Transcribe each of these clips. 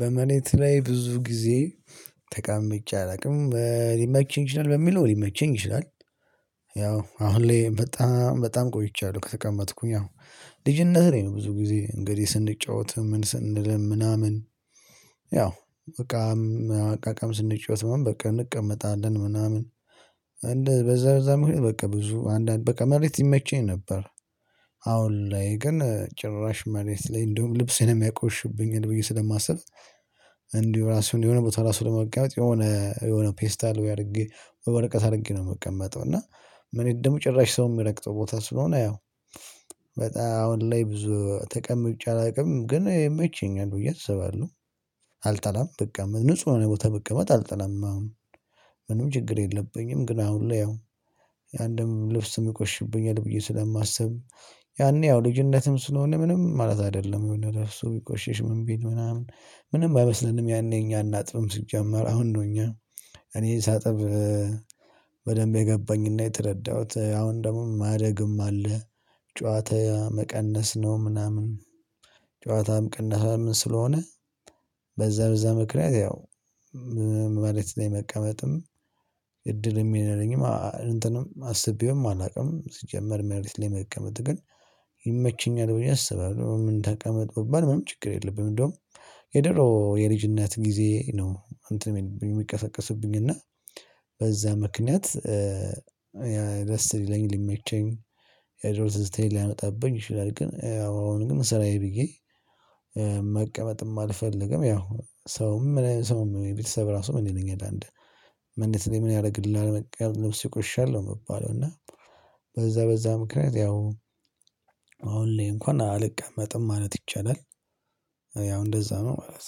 በመሬት ላይ ብዙ ጊዜ ተቀምጬ አላውቅም ሊመቸኝ ይችላል በሚለው ሊመቸኝ ይችላል። ያው አሁን ላይ በጣም በጣም ቆይቻለሁ ከተቀመጥኩኝ ያው ልጅነት ላይ ነው ብዙ ጊዜ እንግዲህ ስንጫወትም ምን ስንልም ምናምን ያው በቃ እቃቃም ስንጫወት ምናምን በቃ እንቀመጣለን ምናምን በዛ በዛ ምክንያት በቃ ብዙ አንዳንድ በቃ መሬት ይመቸኝ ነበር። አሁን ላይ ግን ጭራሽ መሬት ላይ እንደውም ልብሴንም ያቆሽሽብኛል ብዬ ስለማስብ እንዲሁ ራሱን የሆነ ቦታ ራሱ ለመቀመጥ የሆነ የሆነ ፔስታል ወይ አድርጌ ወይ ወርቀት አድርጌ ነው የምቀመጠው። እና መሬት ደግሞ ጭራሽ ሰው የሚረግጠው ቦታ ስለሆነ ያው በጣም አሁን ላይ ብዙ ተቀምጬ አላውቅም። ግን ይመቸኛል ብዬ አስባለው አልጠላም ብቀመጥ ንጹህ የሆነ ቦታ ብቀመጥ አልጠላም አሁን ምንም ችግር የለብኝም። ግን አሁን ላይ ያው አንድም ልብስም ይቆሽሽብኛል ብዬ ስለማስብ ያኔ ያው ልጅነትም ስለሆነ ምንም ማለት አይደለም ልብሱ ቢቆሽሽ ምን ቢል ምናምን ምንም አይመስለንም። ያኔ እኛ እናጥብም ሲጀመር አሁን እኛ እኔ ሳጥብ በደንብ የገባኝ እና የተረዳሁት አሁን ደግሞ ማደግም አለ። ጨዋታ መቀነስ ነው ምናምን። ጨዋታም ቅነሳም ስለሆነ በዛ በዛ ምክንያት ያው መሬት ላይ መቀመጥም እድልም የለኝም እንትንም አስቤውም አላውቅም ሲጀመር መሬት ላይ መቀመጥ ግን ይመችኛል ብዬ አስባለሁ። ምን ተቀመጥ ብባል ምን ችግር የለብኝም። እንደውም የድሮ የልጅነት ጊዜ ነው እንትን ሚልብኝ ሚቀሰቀስብኝ እና በዛ ምክንያት ደስ ሊለኝ ሊመቸኝ የድሮ ትዝታዬን ሊያመጣብኝ ይችላል። ግን አሁን ግን ስራዬ ብዬ መቀመጥም አልፈልግም። ያው ሰውም ምን ሰውም ቤተሰብ ራሱ ምን ይለኛል አንድ ምን ያደርግልሃል ልብስህ ይቆሻሻል ነው የምባለው። እና በዛ በዛ ምክንያት ያው አሁን ላይ እንኳን አልቀመጥም ማለት ይቻላል። ያው እንደዛ ነው ማለት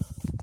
ነው።